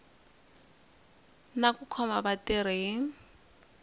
na ku khoma vatirhi hi